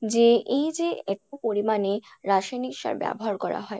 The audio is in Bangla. যে এইযে, এত পরিমাণে রাসায়নিক সার ব্যাবহার করা হয়